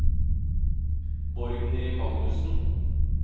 Borgny Magnussen